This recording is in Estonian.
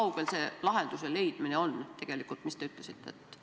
Apteegireformi algatatud seadusemuudatused võttis Riigikogu vastu 2014. ja 2015. aastal.